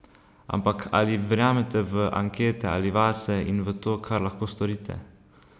Ampak ali verjamete v ankete ali vase in v to, kar lahko storite?